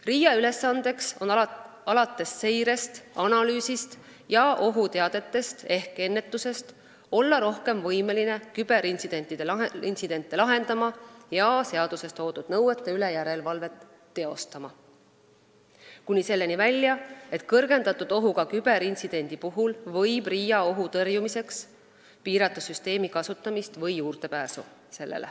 RIA ülesanne on alates seirest, analüüsist ja ohuteadetest ehk -ennetusest olla rohkem võimeline küberintsidente lahendama ning seaduses toodud nõuete üle järelevalvet teostama, kuni selleni välja, et kõrgendatud ohuga küberintsidendi puhul võib ta ohu tõrjumiseks piirata süsteemi kasutamist või sellele juurdepääsu.